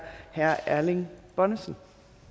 herre erling bonnesen